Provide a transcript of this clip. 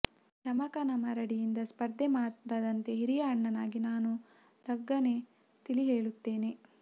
ಯಮಕನಮರಡಿಯಿಂದ ಸ್ಪರ್ಧೆ ಮಾಡದಂತೆ ಹಿರಿಯ ಅಣ್ಣನಾಗಿ ನಾನು ಲಖನ್ಗೆ ತಿಳಿ ಹೇಳುತ್ತೇನೆ